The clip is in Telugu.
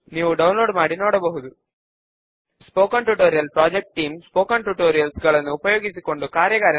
దీనితో మనము లిబ్రే ఆఫీస్ బేస్ లోని సబ్ ఫామ్స్ ట్యుటోరియల్ చివరకు వచ్చేసాము